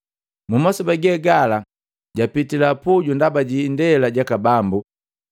Mumasoba ge gala japitila puju ndaba jiindela jaka Bambu.